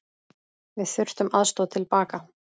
Við þurftum aðstoð til baka.